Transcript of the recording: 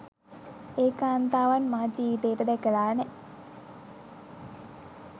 ඒ කාන්තාවන් මා ජීවිතේට දැකලා නෑ